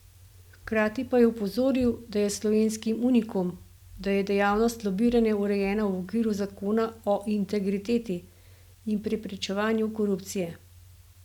Hkrati pa je opozoril, da je slovenski unikum, da je dejavnost lobiranja urejena v okviru zakona o integriteti in preprečevanju korupcije.